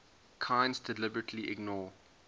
kinds deliberately ignore